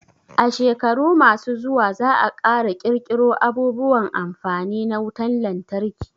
A shekaru ma su zuwa za a ƙara ƙirƙiro abubuwan amfani na wutan lantarki